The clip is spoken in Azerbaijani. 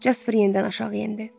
Jasper yenidən aşağı endi.